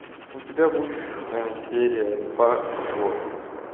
у тебя будет серия два зло